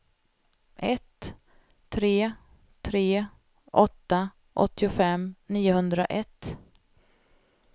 ett tre tre åtta åttiofem niohundraett